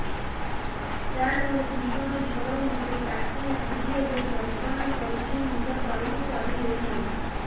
ସାର ମୋର ଭୀଷଣ ଜ୍ଵର ମୁଣ୍ଡ ର ତାତି ଉଠୁଛି ଏବଂ ଯନ୍ତ୍ରଣା କରୁଛି ମୁଣ୍ଡ ତଳକୁ କରି ହେଉନାହିଁ